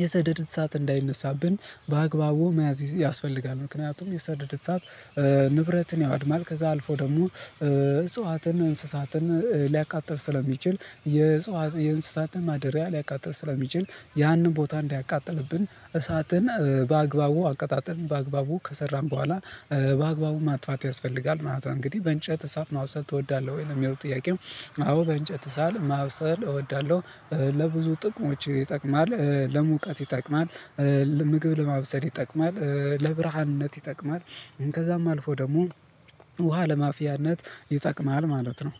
የሰደደት ሰዓት እንዳይነሳብን በአግባቡ መያዝ ያስፈልጋል። ምክንያቱም የሰደደት ሰዓት ንብረትን ያወድማል ከዛ አልፎ ደግሞ እጽዋትን እንስሳትን ሊያቃጥል የእንስሳትን ማደሪያ ሊያቃጥል ስለሚችል ያንን ቦታ እንዲያቃጥልብን እሳትን በአግባቡ አቀጣጥም በአግባቡ ከሰራም በኋላ በአግባቡ ማጥፋት ያስፈልጋል። ምናምን እንግዲህ በእንጨት እሳል ማውሰድ እወዳለሁ ወይ የሚለው ጥያቄው? አዎ በእንጨት እሳል ማውሰድ እወዳለሁ። ለብዙ ጥቅሞች ይጠቅማል ለሙቀት ይጠቅማል። ምግብ ለማብሰድ ይጠቅማል ለብርሃንነት ይጠቅማል። ከዛም አልፎ ደግሞ ውሃ ለማፊያነት ይጠቅማል ማለት ነው።